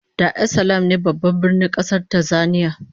Dar es Salaam ne Babban Birnin kasar Tanzania